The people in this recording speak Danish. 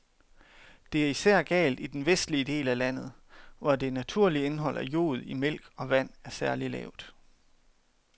Det er især galt i den vestlige del af landet, hvor det naturlige indhold af jod i mælk og vand er særlig lavt.